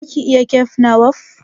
Zaki iya kek na kwaf?